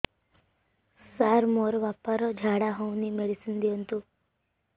ସାର ମୋର ବାପା ର ଝାଡା ଯାଉନି ମେଡିସିନ ଦିଅନ୍ତୁ